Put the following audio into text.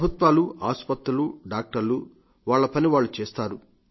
ప్రభుత్వాలు ఆస్పత్రులు డాక్టర్లు వాళ్ల పని వాళ్లు చేస్తారు